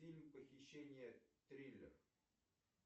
фильм похищение триллер